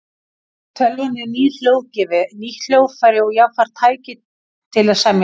Tölvan er nýr hljóðgjafi, nýtt hljóðfæri og jafnframt tæki til að semja tónlist.